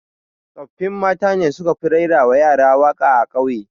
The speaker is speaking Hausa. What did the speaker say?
Tsoffin mata ne su ka fi raira wa yara waƙa a ƙauye